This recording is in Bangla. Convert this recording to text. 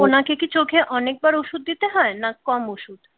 ওনাকে কি চোখে অনেকবার ওষুধ দিতে হয় না কম ওষুধ?